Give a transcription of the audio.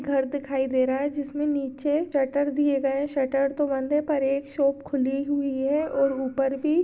घर दिखाई दे रहा है जिसमें नीचे शटर दिए गए शटर तो बंद है पर एक शॉप खुली हुई है और ऊपर भी--